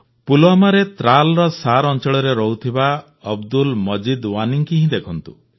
ପୁଲୱାମାରେ ତ୍ରାଲ୍ର ଶାର୍ ଅଂଚଳରେ ରହୁଥିବା ଅବଦୁଲ ମଜିଦ୍ ୱାନିଙ୍କୁ ହିଁ ଦେଖନ୍ତୁ